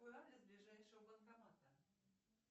какой адрес ближайшего банкомата